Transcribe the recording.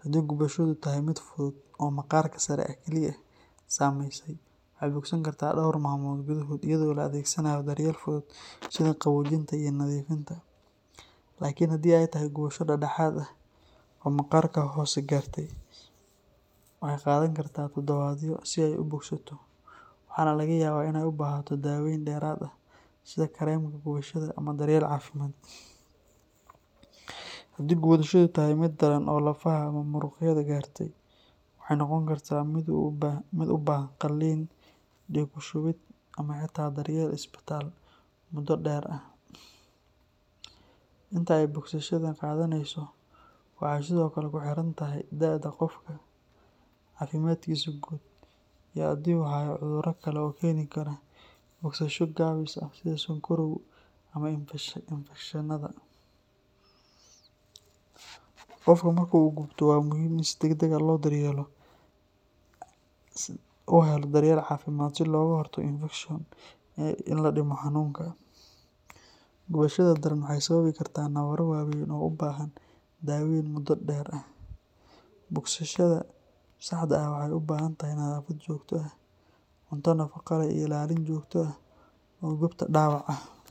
Haddii gubashadu tahay mid fudud oo maqaarka sare ah kaliya saameysay, waxay bogsan kartaa dhowr maalmood gudahood iyadoo la adeegsanayo daryeel fudud sida qaboojinta iyo nadiifinta. Laakiin haddii ay tahay gubasho dhexdhexaad ah oo maqaarka hoose gaartay, waxay qaadan kartaa toddobaadyo si ay u bogsato waxaana laga yaabaa in ay u baahato daaweyn dheeraad ah sida kareemka gubashada ama daryeel caafimaad. Haddii gubashadu tahay mid daran oo lafaha ama muruqyada gaartay, waxay noqon kartaa mid u baahan qalliin, dhiig ku shubid, ama xitaa daryeel isbitaal muddo dheer ah. Inta ay bogsashada qaadaneyso waxay sidoo kale ku xiran tahay da’da qofka, caafimaadkiisa guud, iyo haddii uu hayo cudurro kale oo keeni kara bogsasho gaabis ah sida sonkorow ama infekshannada. Qofka marka uu gubto waa muhiim in si degdeg ah loo helo daryeel caafimaad si looga hortago infekshan iyo in la dhimo xanuunka. Gubashada daran waxay sababi kartaa nabarro waaweyn oo u baahan daaweyn muddo dheer ah. Bogsashada saxda ah waxay u baahan tahay nadaafad joogto ah, cunto nafaqo leh, iyo ilaalin joogto ah oo goobta dhaawaca ah.